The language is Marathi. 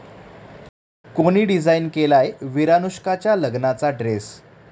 कोणी डिझाइन केलाय 'विरानुष्का'च्या लग्नाचा ड्रेस?